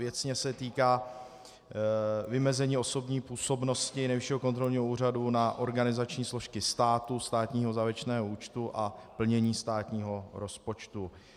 Věcně se týká vymezení osobní působnosti Nejvyššího kontrolního úřadu na organizační složky státu, státního závěrečného účtu a plnění státního rozpočtu.